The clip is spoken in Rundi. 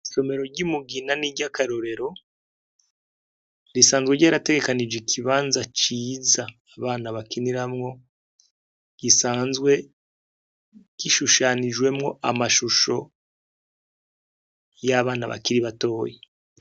Isomero ry'i Mugina ni iry'akarorero, risanzwe ryarategekanije ikibanza ciza abana bakiniramwo, gisanzwe gishushanijwemwo amashusho y'abana bakiri batoya.